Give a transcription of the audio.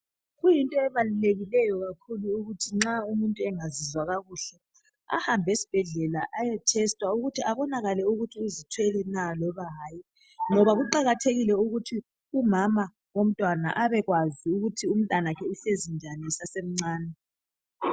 Kuyinto ebalulekileyo kakhulu ukuthi umuntu nxa engazizwa kuhle ahambe esibhedlela ayethetswa ukuthi kubonakale kuthi uzithwele na loba hatshi ngoba kuqakathekile ukuthi umama abone ukuthi umntwana uhlezi njani esiswini esasemncane.